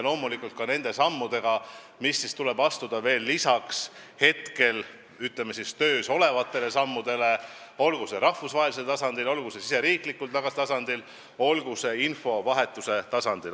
Loomulikult tuleb lisaks nn töös olevatele sammudele astuda veelgi samme, olgu rahvusvahelisel tasandil, olgu riigisisesel tasandil, olgu infovahetuse tasandil.